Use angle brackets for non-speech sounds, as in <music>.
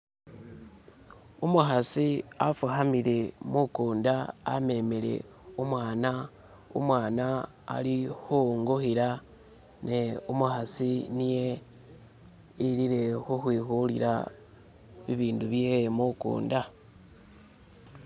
<skip> umuhasi afuhamile mukunda amemele umwana alihuwunguhila ne umuhasi niye ilile uhwihulila ibindubyewe mukunda <skip>